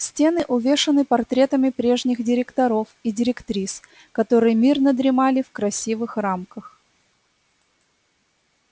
стены увешаны портретами прежних директоров и директрис которые мирно дремали в красивых рамках